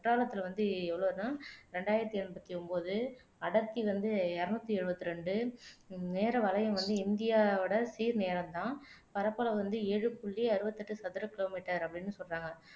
குற்றாலத்துல வந்து எவ்வளவுனா இரண்டாயிரத்து எண்பத்து ஒன்பது அடர்த்தி வந்து இருநூற்று எழுபத்தி இரண்டு நேர வலயம் வந்து இந்தியாவோட சீர் நேரம் தான் பரப்பளவு வந்து ஏழு புள்ளி அறுபத்து எட்டு சதுர கிலோமீட்டர் அப்படின்னு சொல்றாங்க